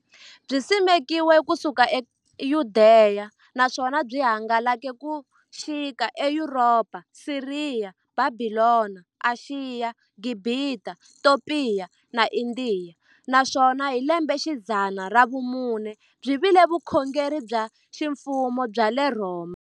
Byisimekiwe ku suka e Yudeya, naswona byi hangalake ku xika e Yuropa, Siriya, Bhabhilona, Ashiya, Gibhita, Topiya na Indiya, naswona hi lembexidzana ra vumune byi vile vukhongeri bya ximfumo bya le Rhoma.